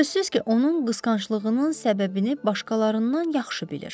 Sözsüz ki, onun qısqanclığının səbəbini başqalarından yaxşı bilir.